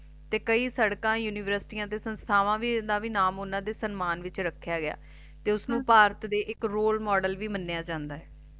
ਤੇ ਕਈ ਸੜਕਾਂ ਤੇ ਯੂਨੀਵਰਸਟੀ ਦੇ ਸੰਸਥਾਵਾਂ ਦਾ ਨਾਂ ਵੀ ਨਾਮ ਓਹਨਾ ਦੇ ਸਨਮਾਨ ਵਿੱਚ ਰੱਖਿਆ ਗਿਆ ਏ ਤੇ ਉਸਨੂੰ ਭਾਰਤ ਦੇ ਇਕ Role Model ਮੰਨਿਆ ਜਾਂਦਾ ਏ